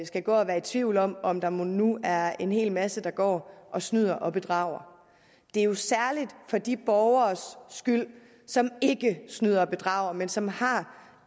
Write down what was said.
skal gå og være i tvivl om om der mon nu er en hel masse der går og snyder og bedrager det er jo særlig for de borgeres skyld som ikke snyder og bedrager men som har